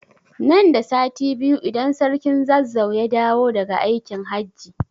Nan da sati biyu idan sarkin Zazzau ya dawo da ga aikin hajji